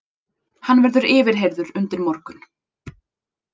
Hann verður yfirheyrður undir morgun